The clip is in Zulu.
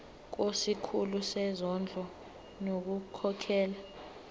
kusikhulu sezondlo ngokukhokhela